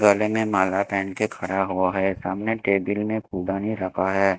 गले में माला पेहन के खड़ा हुआ है सामने केबिन में रखा है।